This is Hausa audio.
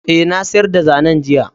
Ae, Na siyar da zanen, jiya.